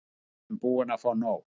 Við erum búin að fá nóg.